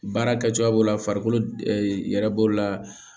Baara kɛcogoya b'o la farikolo yɛrɛ b'o la